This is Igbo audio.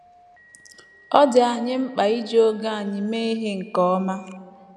Ọ dị anyị mkpa iji oge anyị mee ihe nke ọma.